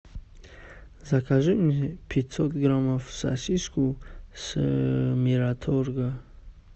закажи мне пятьсот граммов сосиску с мираторга